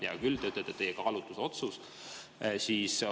Hea küll, te ütlete, et teie kaalutlusotsus.